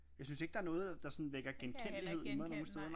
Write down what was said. Jeg synes ikke der er noget der sådan vækker genkendelighed i mig nogen steder